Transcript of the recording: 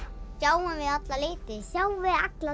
sjáum við alla liti sjáum við alla